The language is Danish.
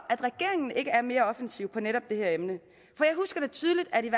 at regeringen ikke er mere offensiv på netop det her emne for jeg husker da tydeligt at de